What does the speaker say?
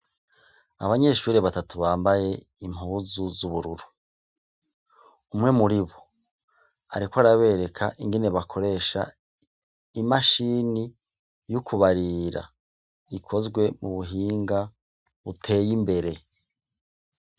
Abanyeshuri batatu bambaye impuzu z'ubururu umwe muri bo, ariko arabereka ingene bakoresha imashini y'ukubarira ikozwe mu buhinga uteye imbere.